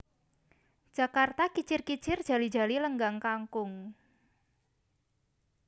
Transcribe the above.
Jakarta Kicir kicir Jali jali Lenggang Kangkung